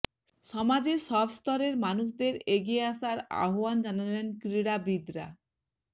সমাজের সব স্তরের মানুষদের এগিয়ে আসার আহ্বান জানালেন ক্রীড়াবিদরা